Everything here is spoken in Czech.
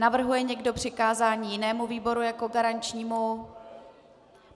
Navrhuje někdo přikázání jinému výboru jako garančnímu?